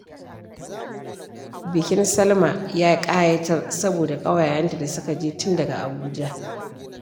Bikin Salma ya ƙayatar saboda ƙawayenta da suka je tun daga Abuja